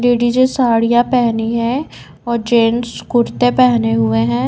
Ladies साड़ियां पहनी हैं और जेंट्स कुर्ते पहने हुए हैं।